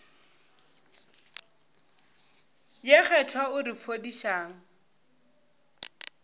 ye kgethwa o re fodišang